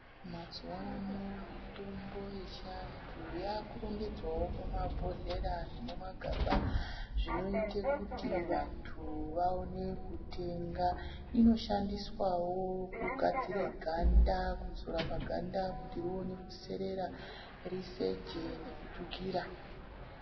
Mazuwa ano mitombo yechiantu yakurongedzwawo mumabhodhleya nemumagaba zvinoite kuti vantu vaone kutenga, inoshandiswawo kugadzire ganda kuzora paganda kuti rione kuserera riseje nekutsvukira.